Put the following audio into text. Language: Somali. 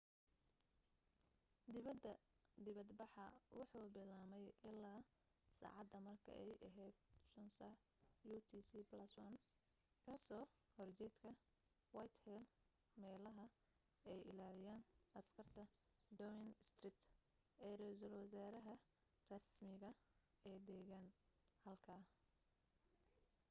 dibad baxa wuxuu bilaabmay ilaa sacaada marka ay aheyd 11:00 utc+1 ka soo horjeedka whitehall meelaha ay ilaaliyaan askarta downing street ee reesal wasaraha rasmiga ee degan halka